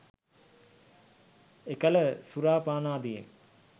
එකල සුරා පානාදියෙන්